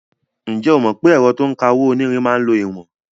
Ǹjẹ́ o mọ̀ pé ẹ̀rọ to ń ka owó-onírin máa ń lo ìwọ̀n?